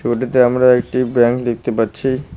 ছবিটিতে আমরা একটি ব্র্যাঞ্চ দেখতে পাচ্ছি।